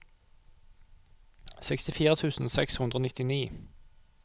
sekstifire tusen seks hundre og nittini